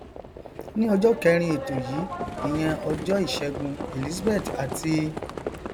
ní ọjọ kẹẹrin ètò yìí ìyẹn ọjọ ìṣẹgun elizabeth ati